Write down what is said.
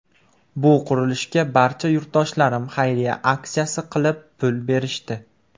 Bu qurilishga barcha yurtdoshlarim xayriya aksiyasi qilib, pul berishdi.